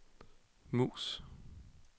mus